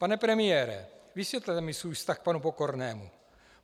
Pane premiére, vysvětlete mi svůj vztah k panu Pokornému.